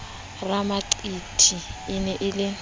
ramaqiti e ne e le